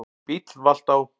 Bíll valt á